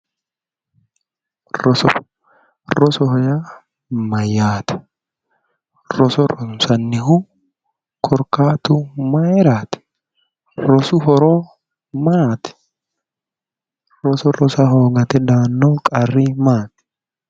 Roso rosoho yaa mayyaate? roso ronsannihu korkaati mayiiraati? rosu horo maati? roso rosa hoogate daanno qarri maati?